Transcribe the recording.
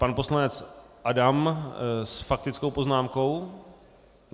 Pan poslanec Adam s faktickou poznámkou.